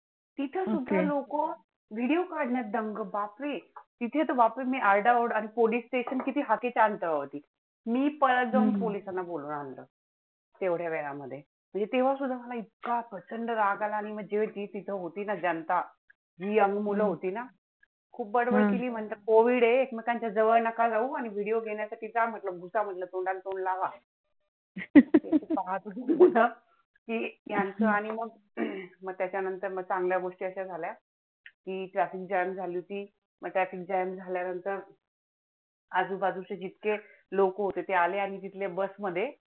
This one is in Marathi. आजूबाजूचे जितके लोक होते ते आले आणि तिथल्या bus मध्ये